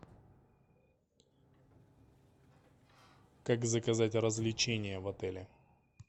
как заказать развлечения в отеле